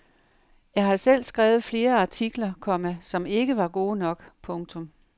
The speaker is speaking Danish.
Jeg har selv skrevet flere artikler, komma som ikke var gode nok. punktum